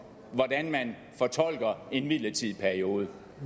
hvordan man fortolker en midlertidig periode